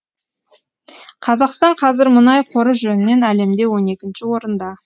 қазақстан қазір мұнай қоры жөнінен әлемде он екінші орында